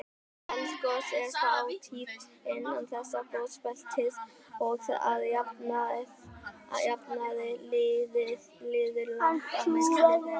Eldgos eru fátíð innan þessa gosbeltis og að jafnaði líður langt á milli þeirra.